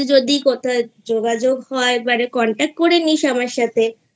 যদি কোথাও যোগাযোগ হয় এবারে Contact করে নিস আমার সাথে